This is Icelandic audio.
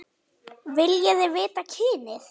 Viljiði vita kynið?